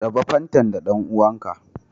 Raɓa fantan da dan'uwan ka.